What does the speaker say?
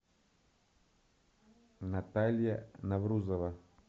наталья наврузова